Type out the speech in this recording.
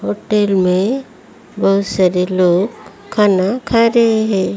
Hotel में बहोत सारे लोग खाना खा रहे हैं।